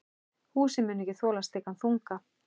Húsið muni ekki þola slíkan þunga.